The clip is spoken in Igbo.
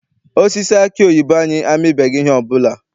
Osisi aki oyibo anyị amibeghị ihe ọbụla.